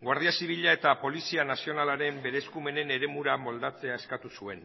guardia zibila eta polizia nazionalaren beren eskumenen eremura moldatzea eskatu zuen